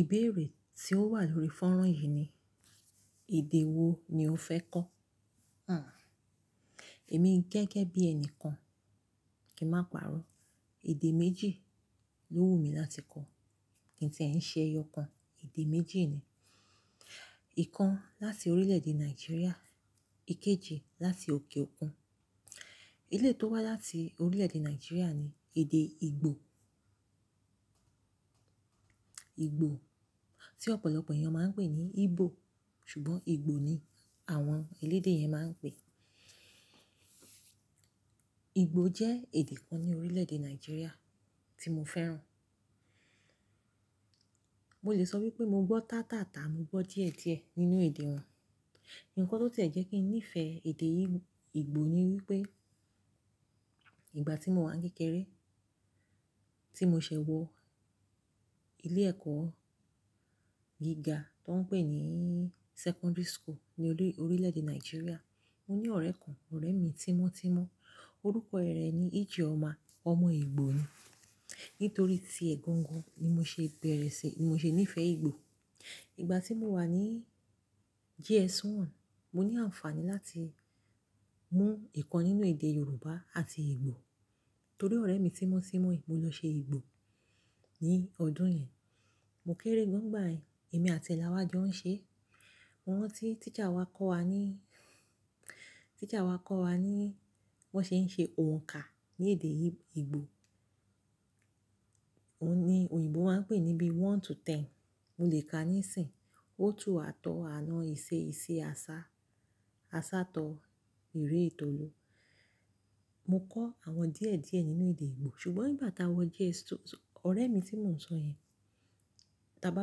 Ìbéèrè tí ó wà lórí fọ́nrán yìí ni, èdè wo ni o fẹ́ kọ́? Hmm. Èmi gẹ́gẹ́ bí ẹni kan, kí n má parọ́, èdè méjì ló wù mí láti kọ́. Kí n ti ẹ̀ ṣe ẹyọ kan, èdè méjì ni. Ìkan láti orílẹ̀-èdè Nàìjíríà, ìkejì láti òkè òkun. Eléyìí tó wá láti orílẹ̀-èdè Nàìjíríà ni èdè Ìgbò. Ìgbò tí ọ̀pọ̀lọpọ̀ ẹ̀yàn máa ń pè ní Igbo, ṣùgbọ́n Ìgbò ni àwọn elédè yẹn máa ń pè. Ìgbò jẹ́ èdè kan ní orílẹ̀-èdè Nàìjíríà tí mo fẹ́ràn. Mo lè sọ wípé mo gbọ́ tátáàtà, mo gbọ́ díẹ̀díẹ̀ nínú èdè wọn. Ìkàn tó ti jẹ́ kí n nífẹ̀ẹ́ èdè yìí, Ìgbò ni wípé ìgbà tí mo wà ní kékeré, tí mo ṣẹ̀ wọ ilé ẹ̀kọ́ gíga tó ń pè ní secondary school ní orí, orílẹ̀-èdè Nàìjíríà, mo ní ọ̀rẹ́ kan, ọ̀rẹ́ mi tímọ́tímọ́. Orúkọ rẹ̀ ni Ijeọma, ọmọ Ìgbò ni. Nítorí ti ẹ̀ gangan ni mo ṣe bẹ̀rẹ̀ sí, mo ṣe nífẹ̀ẹ́ Ìgbò. Ìgbà tí mo wà ní JS1, mo ní àǹfààní láti mú Ìkàn nínú èdè Yorùbá àti Ìgbò. Torí ọ̀rẹ́ mi tímọ́tímọ́ yìí mo lọ ṣe Ìgbò ní ọdún yẹn. Mo kéré gan nígbà yẹn, èmi àti ẹ̀ la wá jọ ń ṣe. Mo rántí teacher wa kọ́ wa ní, teacher wa kọ́ wa ní bí wón ṣe ń ṣe òǹkà ní èdè yìí, Ìgbò. Ó ní òyìnbó máa ń pè níbí one to ten. Mo lè ka níìsín, ó tu àtọ́ àná, ìṣẹ́ ìṣẹ́, asá, asátọ̀, ìrẹ́, ìtòòlu. Mo kọ́ àwọn díẹ̀díẹ̀ nínú èdè Ìgbò. Ṣùgbọ́n ìgbà tá a wọ SS2, ọ̀rẹ́ mi tí mò ń sọ yẹn, tí a bá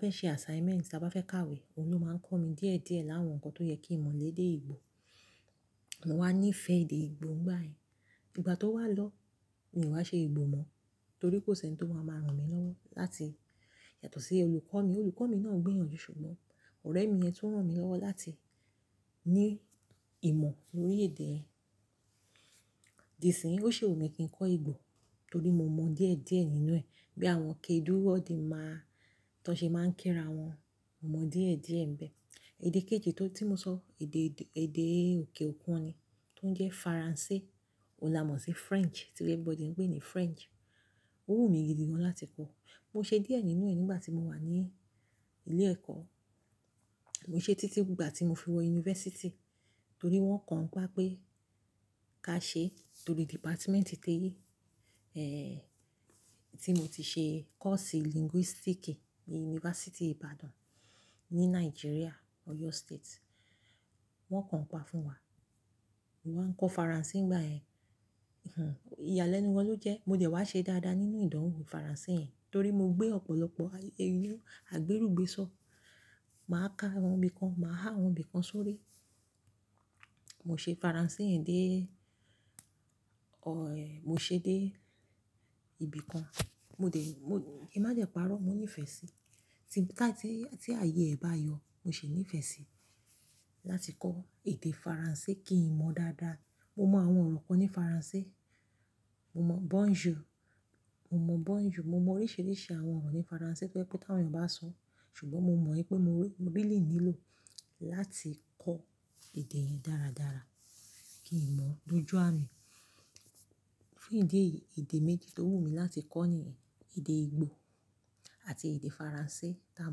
fẹ́ ṣe assignment, tí a bá fẹ́ ka ìwé, òun ló máa ń kọ́ mi díẹ̀díẹ̀ láwọn nǹkan tó yẹ kí n mọ̀ lèdé Ìgbò. Mo wá nífẹ̀ẹ́ èdè Ìgbò nígbà yẹn. Ìgbà tó wá lọ, mi ò wa ṣe Ìgbò mọ́, torí kò sí ẹni tó máa máa ràn mí lọ́wọ́ láti yàtọ̀ sí olùkọ́ mi. Olùkọ́ mi náà gbìyànjú ṣùgbọ́n ọ̀rẹ́ mi yẹn tún rán mi lọ́wọ́ láti ní ìmọ̀ lórí èdè yẹn. Dìsìnyí, ó ṣì wù mí kí n kọ́ Ìgbò torí mo mọ̀ díẹ̀díẹ̀ nínú ẹ̀, bí àwọn kedu odinma, tí wọ́n ṣe máa ń kí ra wọn, mo mọ̀ díẹ̀díẹ̀ ń bẹ. Èdè kejì tó tí mo sọ, èdè, èdè òkè òkun ni, tó ń jẹ́ Faransé. Ón là mọ̀ sí French, tí everybody ń pè ní French. Ó wù mí gidi gan láti kọ́. Mo ṣe díẹ̀ nínú ẹ nígbà tí mo wà ní ilé ẹ̀kọ́. Mo ṣe títí gbogbo ìgbà tí mo fi wọ university, torí wọ́n kàn ń pa pé ká ṣe torí department tí ẹh, tí mo ti ṣe course linguistics ní University Ibadan ní Nàìjíríà, Oyo State. Wọ́n kàn ń pa fún wa. Mo ma ń kọ Faransé nígbà ẹ. Ìyàlẹ́nu gan ló jẹ́. Mo dẹ̀ wá ṣe dáadáa nínú ìdánwò Faransé yẹn, torí mo gbé ọ̀pọ̀lọpọ̀ àgbérùgbésọ̀. Máa ká àwọn ibìkan, màá há àwọn ibìkan sórí. Mo ṣe Faransé yẹn dé ọ̀, mo ṣe dé ìbí kan. Mo dẹ̀, mo, Kí n má dẹ̀ parọ́, mo nífẹ̀ẹ́ sí. Tí láti tí, tí ààyè ẹ̀ bá yọ, mo sì nífẹ̀ẹ́ sí láti kọ́ èdè Faransé kí n mọ̀ dáadáa. Mo mọ àwọn ọ̀rọ̀ kan ní Faransé. Mo mọ bonjour. Mo mọ̀ bonjour. Mo mọ oríṣìíríṣìí àwọn ọ̀rọ̀ ní Faransé tó jẹ́ pẹ́ tí àwọn èèyàn bá sọọ́. Ṣùgbọ́n mo mọ̀ wípé mo, mo rí eléyìí lò láti kọ́ èdè yí dáradára kí n mọ̀ dójú àmì. Fún ìdí èyí, èdè méjì tó wù mí láti kọ́ nìyẹn, èdè Ìgbò àti èdè Faransé tá a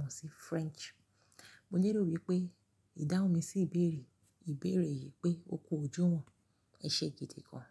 mọ̀ sí French. Mo nílò wípé ìdáhùn mi sí ìbéèrè, ìbéèrè yìí pé ó kó ojúwọ̀n ẹ ṣe gidi kgan.